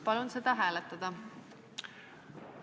Palun seda hääletada!